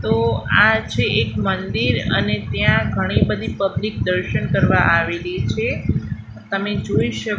તો આ છે એક મંદિર અને ત્યાં ઘણી બધી પબ્લિક દર્શન કરવા આવેલી છે તમે જોઈ શકો--